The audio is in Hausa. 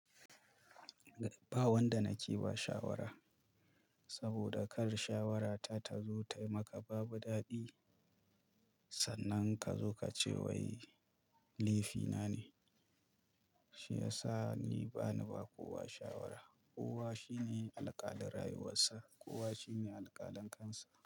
Ba wanda nake ba shawara saboda kar shawarata ta zo ta yi maka ba bu daɗi. Sannan ka zo ka ce wai laifina ne. Shi yasa ni bani ba kowa shawara. Kowa shi ne alƙalin rayuwarsa, kowa shi ne alƙalin kansa.